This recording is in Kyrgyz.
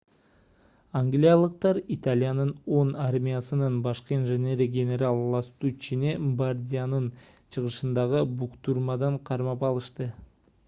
ангиялыктар италиянын 10-армиясынын башкы инженери генерал ластуччини бардианын чыгышындагы буктурмадан кармап алышты